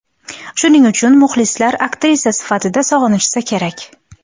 Shuning uchun muxlislar aktrisa sifatida sog‘inishsa kerak.